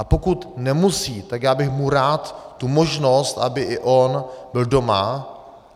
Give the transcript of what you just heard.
A pokud nemusí, tak já bych mu rád tu možnost, aby i on byl doma.